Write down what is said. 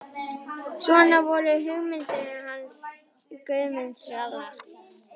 Svona voru nú sögurnar hans Guðmundar ralla.